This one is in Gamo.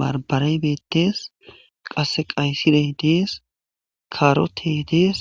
barbaray beettees qasse qaysirey dees karotey dees